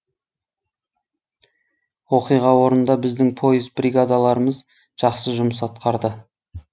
оқиға орнында біздің пойыз бригадаларымыз жақсы жұмыс атқарды